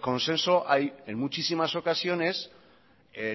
consenso hay en muchísimas ocasiones